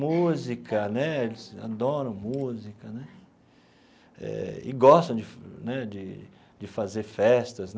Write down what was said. Música né, eles adoram música né eh e gostam de né de de fazer festas.